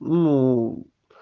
ну